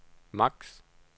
max